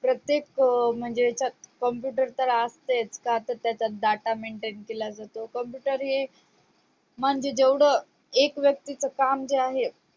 प्रत्येक म्हणजेच computer तर असतेच का तर त्याच्यात data maintain केला जातो computer हे म्हणजे जेवढं एक व्यक्तीच काम जे आहे